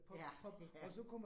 Ja, ja